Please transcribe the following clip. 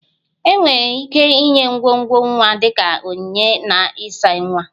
Enwere ike inye ngwongwo nwa dị ka onyinye na ịsa nwa